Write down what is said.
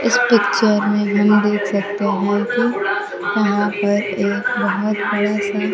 इस पिक्चर में हम देख सकते हैं कि कहां पर एक बहोत बड़ा सा--